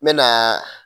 N mɛna